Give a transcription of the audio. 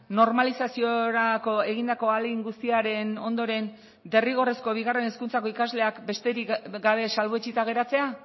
normalizaziorako egindako ahalegin guztiaren ondoren derrigorrezko bigarren hezkuntzako ikasleak besterik gabe salbuetsita geratzea